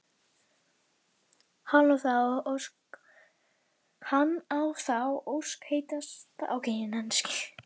Hann á þá ósk heitasta að fá tækifæri til að kynnast henni betur síðar.